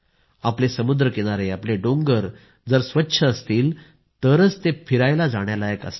आपले आपले डोंगर जर स्वच्छ असतील तरच ते फिरायला जाण्यालायक असतात